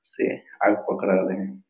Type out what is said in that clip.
से आग पकरा रहे हैं।